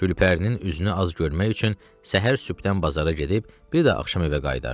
Gülpərinin üzünü az görmək üçün səhər sübdən bazara gedib, bir də axşam evə qayıdardı.